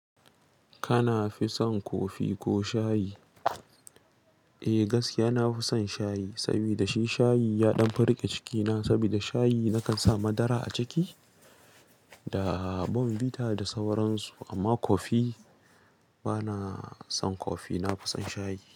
Kana fi son kofi ko shayi? Eh gaskiya, na fi son shayi saboda shi shayi ya ɗan firgice cikina saboda shayi nakan sa madara a ciki da bombita da sauransu. Amma kofi bana son kofi, na fi son shayi.